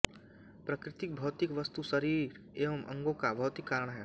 प्रकृति भौतिक वस्तु शरीर एवं अंगों का भौतिक कारण है